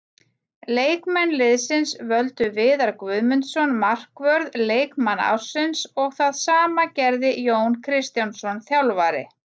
Leikmenn liðsins völdu Viðar Guðmundsson markvörð leikmann ársins og það sama gerði Jón Kristjánsson þjálfari.